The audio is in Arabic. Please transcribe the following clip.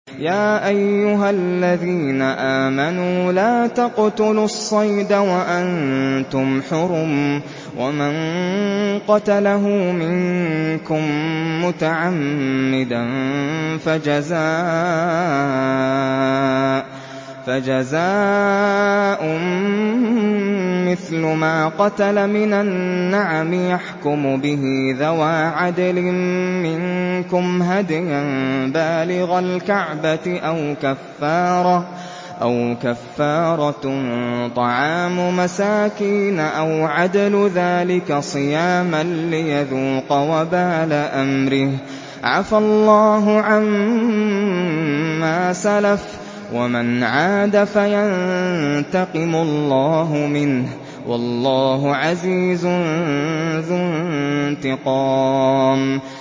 يَا أَيُّهَا الَّذِينَ آمَنُوا لَا تَقْتُلُوا الصَّيْدَ وَأَنتُمْ حُرُمٌ ۚ وَمَن قَتَلَهُ مِنكُم مُّتَعَمِّدًا فَجَزَاءٌ مِّثْلُ مَا قَتَلَ مِنَ النَّعَمِ يَحْكُمُ بِهِ ذَوَا عَدْلٍ مِّنكُمْ هَدْيًا بَالِغَ الْكَعْبَةِ أَوْ كَفَّارَةٌ طَعَامُ مَسَاكِينَ أَوْ عَدْلُ ذَٰلِكَ صِيَامًا لِّيَذُوقَ وَبَالَ أَمْرِهِ ۗ عَفَا اللَّهُ عَمَّا سَلَفَ ۚ وَمَنْ عَادَ فَيَنتَقِمُ اللَّهُ مِنْهُ ۗ وَاللَّهُ عَزِيزٌ ذُو انتِقَامٍ